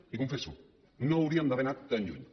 li ho confesso no hauríem d’haver anat tan lluny